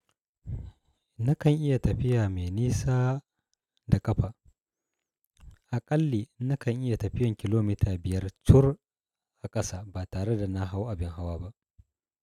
Nakan iya tafiya mai nisa da ƙafa. A ƙalli nakan iya tafiyan kilomita biyar cur a ƙasa ba tare da na hau abin hawa ba.